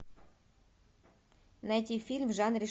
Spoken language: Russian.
найти фильм в жанре